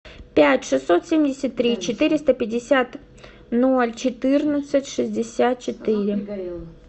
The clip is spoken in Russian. пять шестьсот семьдесят три четыреста пятьдесят ноль четырнадцать шестьдесят четыре